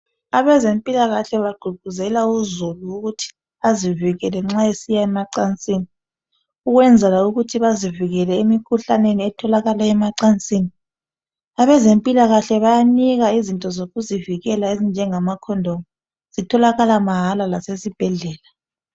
Abezempilakahle bagqugquzela uzulu ukuthi azivikele nxa esiya emacansini ukwenzela ukuthi bazivikele emikhuhlaneni etholakala emacansini. Abezempilakahle bayanika izinto zokuzivikela ezinjengama condom, zitholakala mahala lasezibhedlela.